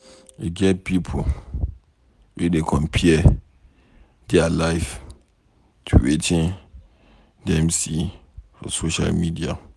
E get pipo wey dey compare dia life to Wetin Dem see for social media.